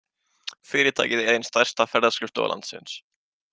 Fyrirtækið er ein stærsta ferðaskrifstofa landsins.